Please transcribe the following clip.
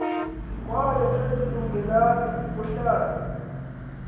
kwaye azilungelanga ukuhlalwa